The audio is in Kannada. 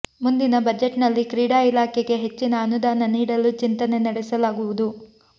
ಮುಂದಿನ ಬಜೆಟ್ನಲ್ಲಿ ಕ್ರೀಡಾ ಇಲಾಖೆಗೆ ಹೆಚ್ಚಿನ ಅನುದಾನ ನೀಡಲು ಚಿಂತನೆ ನಡೆಸಲಾಗುವುದು